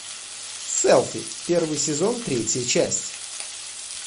селфи первый сезон третья часть